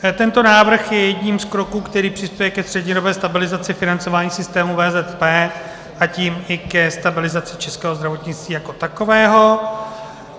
Tento návrh je jedním z kroků, který přispěje ke střednědobé stabilizaci financování systému VZP, a tím i ke stabilizaci českého zdravotnictví jako takového.